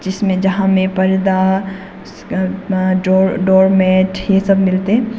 इसमें जहां में पर्दा डो डोर मेट ये सब मिलते हैं।